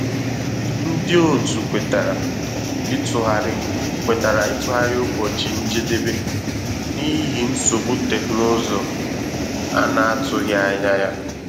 Ndị òtù kwètàrà ịtụgharị kwètàrà ịtụgharị ụbọchị njedebe n’ihi nsogbu teknụzụ a na-atụghị anya ya